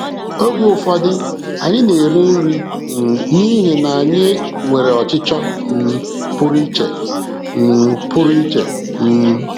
Oge ụfọdụ, anyị na-eri nri um n’ihi na anyị nwere ọchịchọ um pụrụ iche. um pụrụ iche. um